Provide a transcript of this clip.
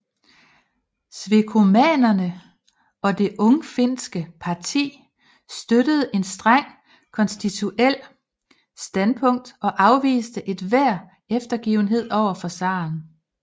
Svekomanerne og det ungfinske parti støttede et strengt konstitutionelt standpunkt og afviste enhver eftergivenhed over for zaren